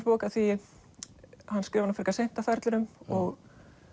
bók af því hann skrifaði hana frekar seint á ferlinum og